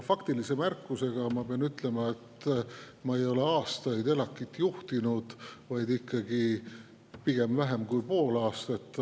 Faktilise märkusena pean ütlema, et ma ei ole juhtinud ELAK‑it aastaid, vaid ikkagi vähem kui pool aastat.